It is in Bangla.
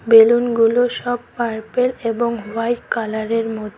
বেলুনগুলো সব পার্পেল এবং হোয়াইট কালারের মোদ--